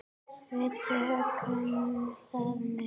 Við tökum það með.